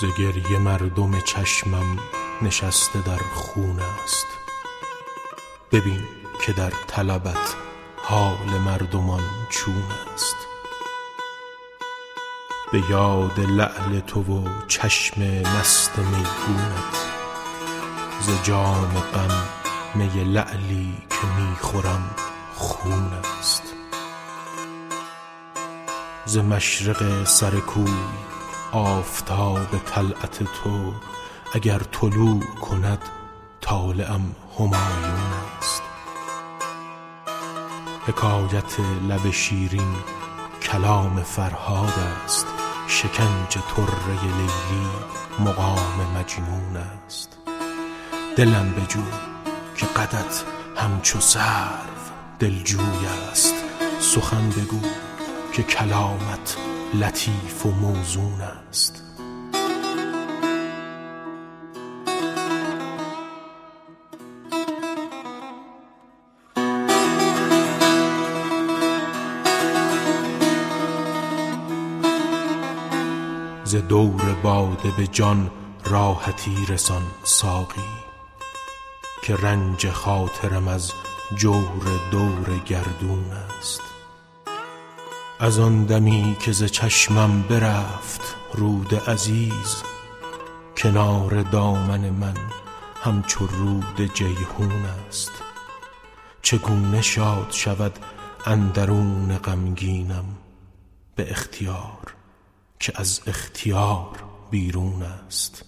ز گریه مردم چشمم نشسته در خون است ببین که در طلبت حال مردمان چون است به یاد لعل تو و چشم مست میگونت ز جام غم می لعلی که می خورم خون است ز مشرق سر کو آفتاب طلعت تو اگر طلوع کند طالعم همایون است حکایت لب شیرین کلام فرهاد است شکنج طره لیلی مقام مجنون است دلم بجو که قدت همچو سرو دلجوی است سخن بگو که کلامت لطیف و موزون است ز دور باده به جان راحتی رسان ساقی که رنج خاطرم از جور دور گردون است از آن دمی که ز چشمم برفت رود عزیز کنار دامن من همچو رود جیحون است چگونه شاد شود اندرون غمگینم به اختیار که از اختیار بیرون است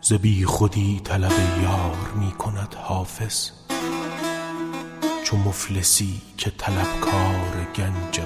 ز بیخودی طلب یار می کند حافظ چو مفلسی که طلبکار گنج قارون است